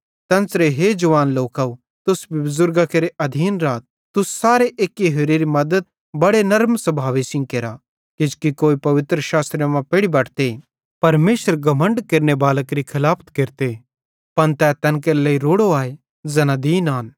तेन्च़रे हे जवान लोकव तुस भी बुज़ुर्गां केरे अधीन राथ तुस सारे एक्की होरेरी मद्दत बड़े नर्म स्भावे सेइं केरा किजोकि कोई पवित्रशास्त्रे मां पेढ़ी बटते परमेशर घमण्ड केरनेबालां केरि खलाफ केरते पन तै तैन केरे लेइ रोड़ो आए ज़ैना दीन आन